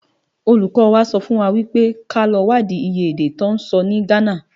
Ólúkò wá sòfúnwá wipé ká lò wádi iyé èdè tò nsò ni Ghana.